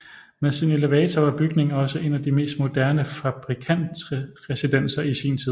Med sin elevator var bygningen også en af de mest moderne fabrikantresidenser i sin tid